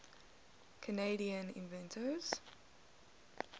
canadian inventors